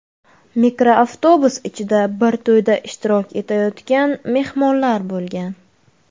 Mikroavtobus ichida bir to‘yda ishtirok etayotgan mehmonlar bo‘lgan.